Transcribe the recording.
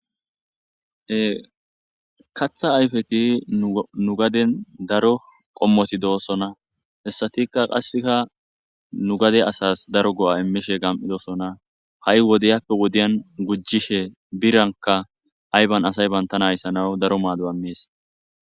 he katha ayfeti nu gaden daro qommoti doosona hessatika qasseka nu gade asas daro go'a immishe gam'idosona ha'i wodeyappe wodiyan gujjishe biranka ayban asay bantana ayissanawu daro maado imees